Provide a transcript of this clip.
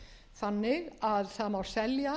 þannig að það má selja